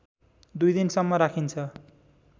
दुई दिनसम्म राखिन्छ